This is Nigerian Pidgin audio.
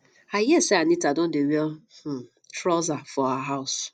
i hear say anita don dey wear um trouser for her house